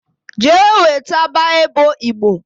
Jee weta Bible Igbo